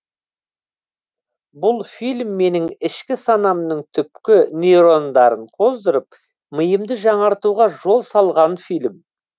бұл фильм менің ішкі санамның түпкі нейрондарын қозғап миымды жаңартуға жол салған фильм